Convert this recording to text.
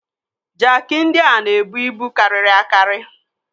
Jaaki ndị a na-ebu ibu karịrị akari.